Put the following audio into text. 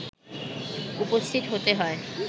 উপস্থিত হতে হয়